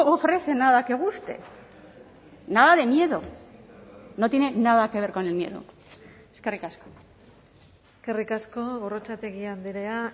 ofrece nada que guste nada de miedo no tiene nada que ver con el miedo eskerrik asko eskerrik asko gorrotxategi andrea